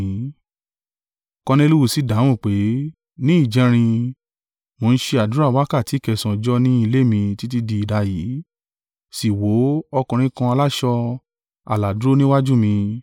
Korneliu sì dáhùn pé, “Ní ìjẹrin, mo ń ṣe àdúrà wákàtí kẹsànán ọjọ́ ni ilé mi títí di idayìí, sì wò ó, ọkùnrin kan aláṣọ, àlà dúró níwájú mi.